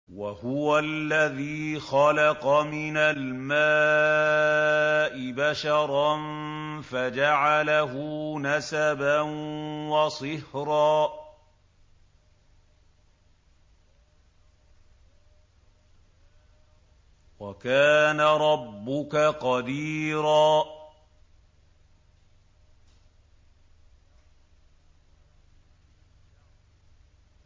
وَهُوَ الَّذِي خَلَقَ مِنَ الْمَاءِ بَشَرًا فَجَعَلَهُ نَسَبًا وَصِهْرًا ۗ وَكَانَ رَبُّكَ قَدِيرًا